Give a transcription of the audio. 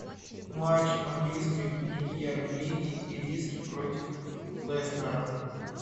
матч английской премьер лиги ириски против лестера